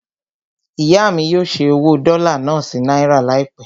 Ìyá mí yóò ṣẹ́ owó dọ́là náà sí náírà láìpẹ́.